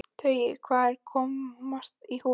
Tauið varð að komast í hús.